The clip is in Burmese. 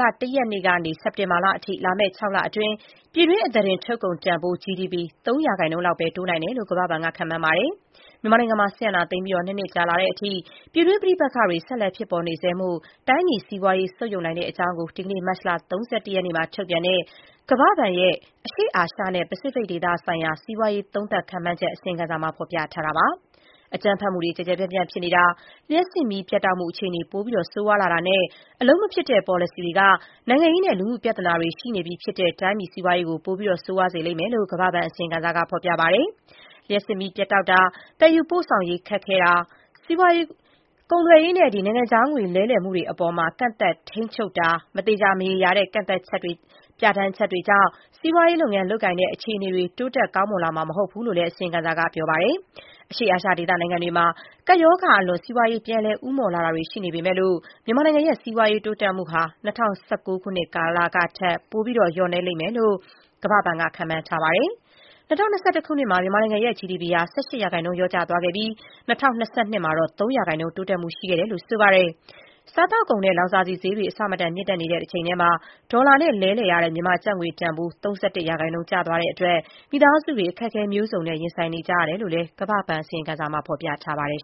လ ၁ ရက်နေ့ကနေ စက်တင်ဘာလအထိ လာမယ့် ၆ လအတွင်း ပြည်တွင်းစုစုပေါင်းထုတ်လုပ်မှုနှုန်း (GDP) ၃ % လောက်ပဲ တိုးနိုင်တယ်လို့ ကမ္ဘာဘဏ်က ခန့်မှန်းပါတယ်။ မြန်မာနိုင်ငံမှာ စစ်အာဏာသိမ်းပြီး ၂ နှစ်ကြာလာတဲ့အထိ ပြည်တွင်း ပဋိပက္ခတွေ ဆက်လက် ဖြစ်ပေါ်နေဆဲမို့ တိုင်းပြည်စီးပွားရေး ဆုတ်ယုတ်နိုင်တဲ့အကြောင်းကို ဒီကနေ့ မတ်လ ၃၁ ရက်နေ့မှာ ထုတ်ပြန်တဲ့ ကမ္ဘာ့ဘဏ်ရဲ့ အရှေ့အာရှနဲ့ ပစိဖိတ်ဒေသ စီးပွားရေး သုံးသပ် ခန့်မှန်းချက် အစီရင်ခံစာမှာ ဖော်ပြထားတာပါ။ အကြမ်းဖက်မှုတွေ ကျယ်ကျယ်ပြန့်ပြန် ဖြစ်ပေါ်နေတာ၊ လျှပ်စစ်မီး ပြတ်တောက်မှု အခြေအနေ ပိုမို ဆိုးရွားလာနေတာနဲ့ အလုပ်မဖြစ်တဲ့ ပေါ်လစီတွေက နိုင်ငံရေးနဲ့ လူမှု ပြဿနာတွေ ရှိနေပြီးဖြစ်တဲ့ တိုင်းပြည် စီးပွားရေးကို ပိုမို ဆိုးရွားသွားစေမယ်လို့ ကမ္ဘာ့ဘဏ် အစီရင်ခံစာမှာ ဖော်ပြပါတယ်။ လျှပ်စစ်မီးပြတ်တောက်မှု၊ သယ်ယူပို့ဆောင်ရေးခက်ခဲမှု၊ ကုန်သွယ်ရေးနဲ့ နိုင်ငံခြားငွေ လဲလှယ်မှုတွေအပေါ် ကန့်သတ် ထိန်းချုပ်မှု၊ မသေချာ မရေရာတဲ့ ပြဌာန်းချက်တွေကြောင့် စီးပွားလုပ်ငန်း လုပ်ကိုင်တဲ့ အခြေအနေတွေ တိုးတက် ကောင်းမွန်လာမှာ မဟုတ်ဘူးလို့ အစီရင်ခံစာက ဆိုပါတယ်။ အရှေ့အာရှဒေသ နိုင်ငံတွေမှာ ကပ်ရောဂါကာအလွန် စီးပွားပြန်လည် ဦးမော့တာတွေ ရှိလာနေပေမယ့် မြန်မာနိုင်ငံရဲ့ စီးပွားရေး တိုးတက်မှုဟာ ၂၀၁၉ ကာလတွေကထက် ပိုပြီး လျော့နည်းမယ်လို့ ကမ္ဘာ့ဘဏ်က ခန့်မှန်းပါတယ်။ ၂၀၂၁ ခုနှစ်မှာ မြန်မာနိုင်ငံရဲ့ GDP ဟာ ၁၈% လျော့ကျသွားခဲ့ပြီး ၂၀၂၂ ခုနှစ်မှာတော့ ၃% တိုးတက်မှု ရှိခဲ့တယ်လို့ ဆိုပါတယ်။ စားသောက်ကုန်နဲ့ လောင်စာဆီဈေးတွေ အဆမတန် မြှင့်တက်နေတဲ့ တချိန်တည်း ဒေါ်လာနဲ့လဲလှယ်တဲ့ မြန်မာကျပ်ငွေ တန်ဖိုးဟာ ၃၁% ကျသွားတဲ့အတွက် မိသားစုတွေ အခက်အခဲ မျိုးစုံနဲ့ ရင်ဆိုင်နေကြရတယ်လို့လည်း ကမ္ဘာ့ဘဏ် အစီရင်ခံစာမှာ ဖော်ပြပါတယ်